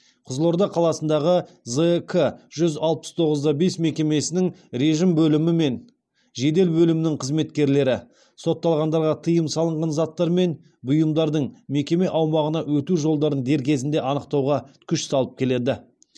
қызылорда қаласындағы зк жүз алпыс тоғыз да бес мекемесінің режім бөлімі мен жедел бөлімінің қызметкерлері сотталғандарға тыйым салынған заттар мен бұйымдардың мекеме аумағына өту жолдарын дер кезінде анықтауға күш салып келеді